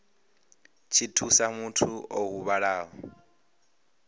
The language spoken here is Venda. tshi thusa muthu o huvhalaho